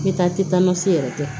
N bɛ taa tɛ taa n ka se yɛrɛ tɛ